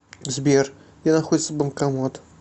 сбер где находится банкомат